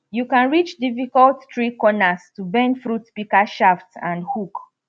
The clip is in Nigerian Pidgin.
you can reach difficult tree corners to bend fruit pika shaft and hook